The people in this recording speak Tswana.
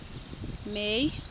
may